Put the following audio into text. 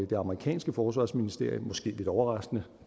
det amerikanske forsvarsministerium måske lidt overraskende